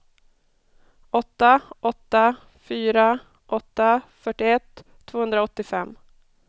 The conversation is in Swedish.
åtta åtta fyra åtta fyrtioett tvåhundraåttiofem